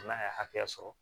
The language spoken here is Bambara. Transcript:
N'a ye hakɛya sɔrɔ